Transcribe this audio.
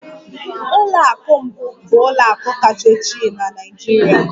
ụlọ akụ mbụ bụ ụlọ akụ kacha ochie na Nigeria.